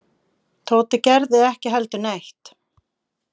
Tóti gerði ekki heldur neitt.